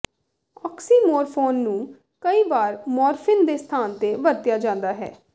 oxymorphone ਨੂੰ ਕਈ ਵਾਰ ਮੋਰਫਿਨ ਦੇ ਸਥਾਨ ਤੇ ਵਰਤਿਆ ਜਾਂਦਾ ਹੈ